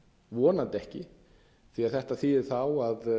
vonandi ekki því að þetta þýðir þá að